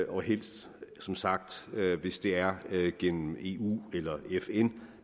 og helst som sagt hvis det er gennem eu eller fn